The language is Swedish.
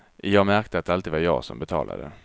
Jag märkte att det alltid var jag som betalade.